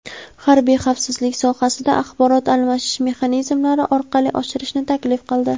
harbiy xavfsizlik sohasida axborot almashish mexanizmlari orqali oshirishni taklif qildi.